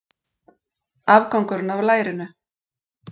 Afgangurinn af lærinu.